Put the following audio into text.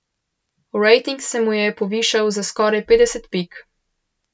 Rating se mu je povišal za skoraj petdeset pik.